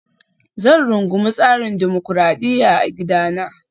Zan rungumi tsarin dimokuradiyya a gidana